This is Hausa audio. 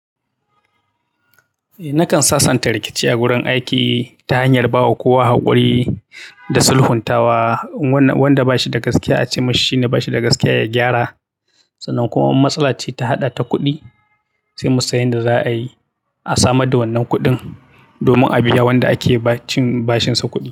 Eh, nakan sasanta rikici a wurin aiki ta hanyar ba wa kowa haƙuri da sulhuntawa. Wanda bashi da gaskiya a ce masa shine bashi da gaskiya ya gyara. Sannan kuma in matsala ce ta haɗa ta kuɗi sai mu san yadda za a yi a samar da wannan kuɗin domin a biya wanda ake cin bashinsa kuɗi.